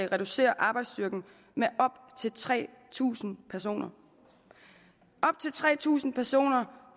reducere arbejdsstyrken med op til tre tusind personer op til tre tusind personer